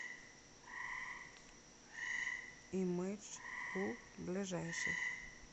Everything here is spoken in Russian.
имэдж кул ближайший